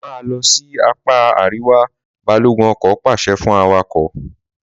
Máa lọ sí apá àríwá!', balogun ọkọ̀ pàṣẹ fún awakọ̀